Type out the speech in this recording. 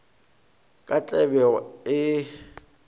ka tlabego a be a